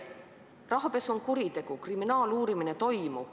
Rahapesu on kuritegu, kriminaaluurimine toimub.